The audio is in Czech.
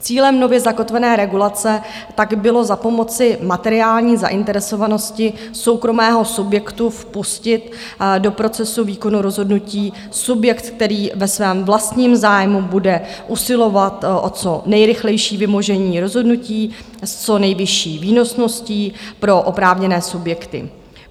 Cílem nově zakotvené regulace pak bylo za pomoci materiální zainteresovanosti soukromého subjektu vpustit do procesu výkonu rozhodnutí subjekt, který ve svém vlastním zájmu bude usilovat o co nejrychlejší vymožení rozhodnutí s co nejvyšší výnosností pro oprávněné subjekty.